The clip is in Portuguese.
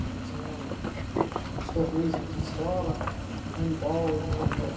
Você tinha os torneios entre escola, de handbol, de vôleibol.